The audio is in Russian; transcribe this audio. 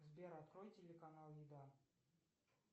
сбер открой телеканал еда